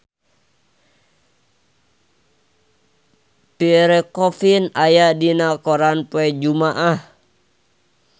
Pierre Coffin aya dina koran poe Jumaah